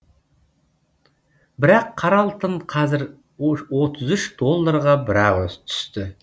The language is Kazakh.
бірақ қара алтын қазір отыз үш долларға бір ақ түсті